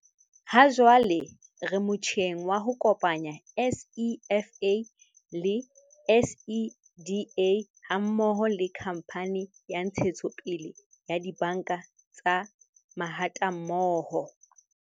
"Hajwale re motjheng wa ho kopanya SEFA le SEDA ha mmoho le Khamphane ya Ntshetsopele ya Dibanka tsa Mahatammoho."